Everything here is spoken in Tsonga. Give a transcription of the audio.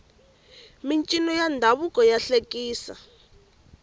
mincino ya ndhavuko ya hlekisa